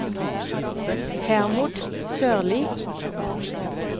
Hermod Sørli